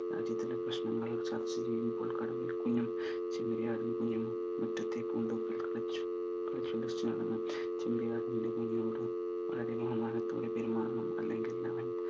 രാജ്യാന്തര പ്രശ്നങ്ങൾ ചർച്ച ചെയ്യുമ്പോൾ കടുവയുടെ കുഞ്ഞും ചെമ്മരിയാടിന്റെ കുഞ്ഞും മുറ്റത്തെ പൂന്തോപ്പിൽ കളിച്ചു കളിച്ചും ചിരിച്ചും നടന്നു കൊണ്ടിരുന്ന ചെമ്മരിയാടിന്റെ കുഞ്ഞോട് ബഹുമാനത്തോടെ പെരുമാറണം ഇല്ലെങ്കിൽ അവൻ